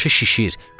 Başı şişir.